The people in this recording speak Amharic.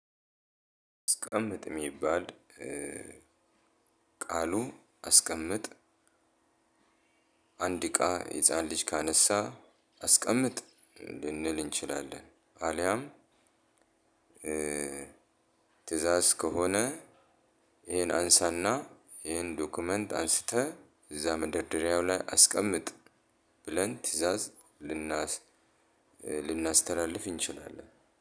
አስቀምጥ የሚባል ቃሉ አስቀምጥ አንድ እቃ ህፃን ልጅ ካነሳ አስቀምጥ ልንል እንችላለን። አልያም ትእዛዝ ከሆነ ይሄን አንሳና ይሄን ዶክመንት አንስተህ እዛ መደርደሪያው ላይ አስቀምጥ። ብለን ትእዛዝ ልናስተላልፍ እንችላለን